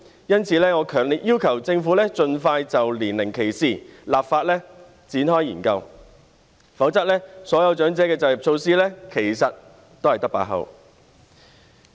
因此，我強烈要求政府盡快研究就年齡歧視立法，否則所有長者就業措施只是空談而已。